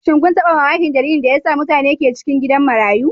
Shin kun taba mamakin dalilin da yasa mutane ke a cikin gidan marayu?